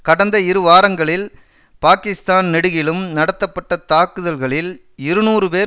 கடந்த இரு வாரங்களில் பாக்கிஸ்தான் நெடுகிலும் நடத்தப்பட்ட தாக்குதல்களில் இருநூறு பேர்